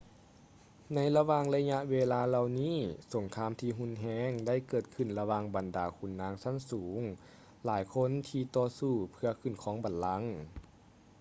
ໃນລະຫວ່າງໄລຍະເວລາເຫຼົ່ານີ້ ສົງຄາມທີ່ຮຸນແຮງໄດ້ເກີດຂຶ້ນລະຫວ່າງບັນດາຂຸນນາງຊັ້ນສູງຫຼາຍຄົນທີ່ຕໍ່ສູ້ເພື່ອຂຶ້ນຄອງບັນລັງ